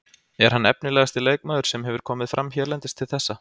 Er hann efnilegasti leikmaður sem hefur hefur komið fram hérlendis til þessa?